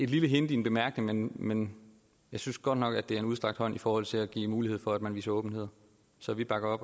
lille hint i en bemærkning men jeg synes godt nok at det er en udstrakt hånd i forhold til at give mulighed for at man viser åbenhed så vi bakker